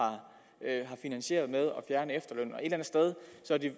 finansieret og et